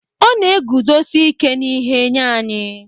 Ọ na-eguzosi ike n'ihe nye anyị